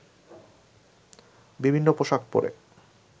বিভিন্ন পোশাক পরে